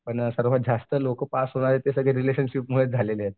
पण सर्वात जास्त पास होणारे लोकं आहेत ते रिलेशनशिपमध्ये झालेले आहेत.